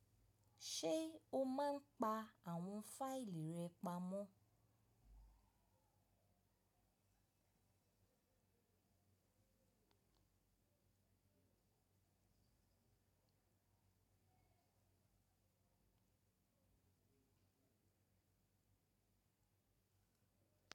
Ṣé o máa ń pa àwọn fáìlì rẹ pamọ́?